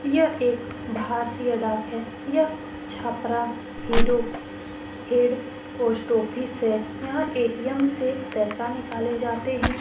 यह एक भारतीय डाक है यह छपरा हेड पोस्ट ऑफिस है यहाँ ए.टी.एम. से पैसा निकाला जाता है ।